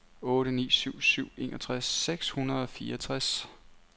otte ni syv syv enogtres seks hundrede og fireogtres